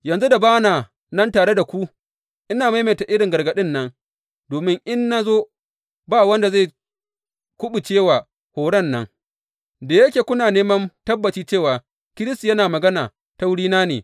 Yanzu da ba na nan tare da ku, ina maimaita irin gargaɗin nan domin in na zo ba wanda zai kuɓuce wa horon nan, da yake kuna neman tabbaci cewa Kiristi yana magana ta wurina ne.